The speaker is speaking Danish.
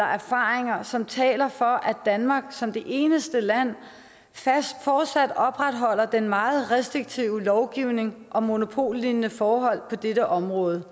og erfaringer som taler for at danmark som det eneste land fortsat opretholder den meget restriktive lovgivning om monopollignende forhold på dette område